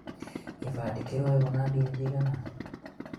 kĩbande kĩroywo na mbia cigana?